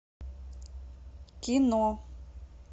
кино